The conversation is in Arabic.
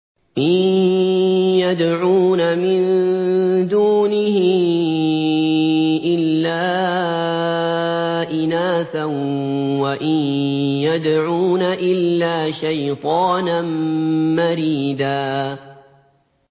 إِن يَدْعُونَ مِن دُونِهِ إِلَّا إِنَاثًا وَإِن يَدْعُونَ إِلَّا شَيْطَانًا مَّرِيدًا